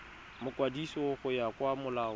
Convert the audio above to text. mokwadisi go ya ka molao